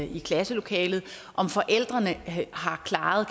i klasselokalet om forældrene har klaret